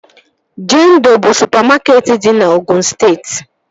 Jendọ bụ supamakeetị dị na Ogụn steeti